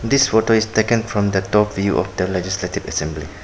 This photo is taken from the top view of the legislative assembly.